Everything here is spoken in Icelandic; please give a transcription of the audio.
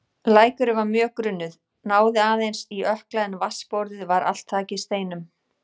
Lækurinn var mjög grunnur, náði henni aðeins í ökkla en vatnsborðið var allt þakið steinum.